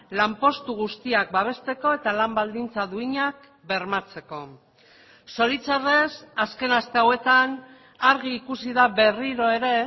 lanpostu guztiak babesteko eta lan baldintza duinak bermatzeko zoritxarrez azken aste hauetan argi ikusi da berriro ere